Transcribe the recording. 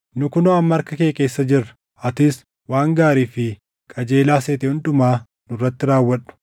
Nu kunoo amma harka kee keessa jirra. Atis waan gaarii fi qajeelaa seete hundumaa nurratti raawwadhu.”